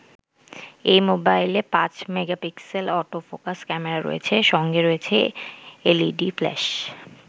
এই মোবাইলে পাঁচ মেগাপিক্সেল অটো ফোকাস ক্যামেরা রয়েছে, সঙ্গে রয়েছে এলইডি ফ্ল্যাশ।